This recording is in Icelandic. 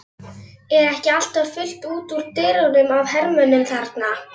Er ekki alltaf fullt út úr dyrum af hermönnum þarna?